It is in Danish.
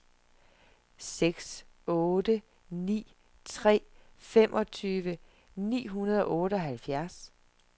seks otte ni tre femogtyve ni hundrede og otteoghalvfjerds